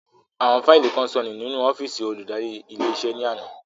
Àwọn fáílì kan sọnù nínú ọ́fìsì olùdarí ilé iṣẹ́ ní àná